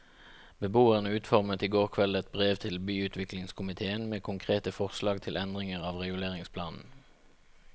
Beboerne utformet i går kveld et brev til byutviklingskomitéen med konkrete forslag til endringer av reguleringsplanen.